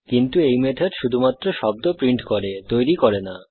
কিন্তু এই মেথড শুধুমাত্র শব্দ প্রিন্ট করে শব্দ তৈরি করে না